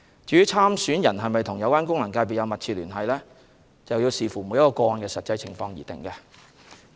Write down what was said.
至於參選人是否與有關功能界別有密切聯繫，須視乎每宗個案的實際情況而定。